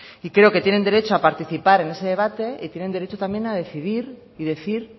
creo que tienen derecho a participar en ese debate y tienen derecho también a decidir y decir